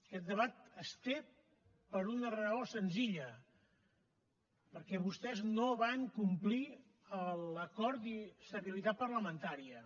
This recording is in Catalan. aquest debat es té per una raó senzilla perquè vostès no van complir l’acord d’estabilitat parlamentària